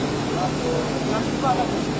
Paqaj, Paqajdan.